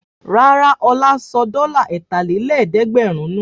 Rárá, Ọlá sọ dọ́là ẹ̀tàlélẹ́ẹ̀dẹ́gbẹ̀rún nù.